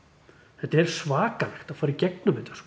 þetta er svakalegt að fara í gegnum þetta sko